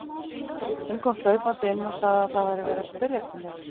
Hún kom hlaupandi inn og sagði að það væri verið að spyrja eftir mér.